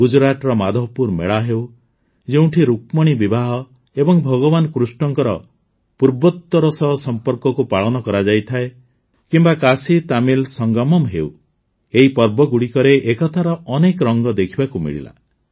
ଗୁଜୁରାଟର ମାଧବପୁର ମେଳା ହେଉ ଯେଉଁଠି ରୁକ୍ମିଣୀ ବିବାହ ଏବଂ ଭଗବାନ କୃଷ୍ଣଙ୍କ ପୂର୍ବୋତ୍ତର ସହ ସମ୍ପର୍କକୁ ପାଳନ କରାଯାଇଥାଏ କିମ୍ବା କାଶୀତାମିଲ ସଙ୍ଗମମ୍ ହେଉ ଏହି ପର୍ବଗୁଡ଼ିକରେ ଏକତାର ଅନେକ ରଙ୍ଗ ଦେଖିବାକୁ ମିଳିଲା